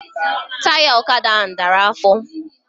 Taya ọkada ahụ dara afọ